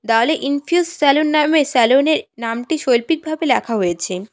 দেওয়ালে Infuse salon নামে salon -এর নামটি শৈল্পিকভাবে লেখা হয়েছে।